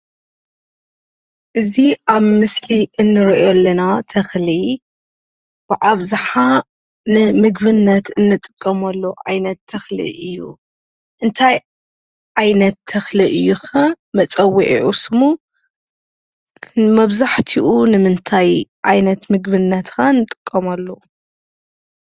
እዚ ኣብ ምስሊ እንርኦ ለና ተኽሊ ብኣብዛሓ ንምግብነት እንጥቀመሉ ዓይነት ተኽሊ እዩ። እንታይ ዓይነት ተኽሊ እዩ ኸ መፀውዕዒ ስሙ? ንመብዛሓትኡ ንምንታይ ዓይነት ምግብነት ኸ ንጥቀመሉ?